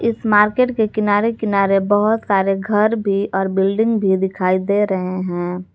Market के किनारे किनारे बहुत सारे घर भी और बिल्डिंग भी दिखाई दे रहे हैं।